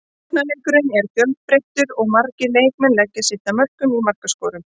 Sóknarleikurinn er fjölbreyttur og margir leikmenn leggja sitt að mörkum í markaskorun.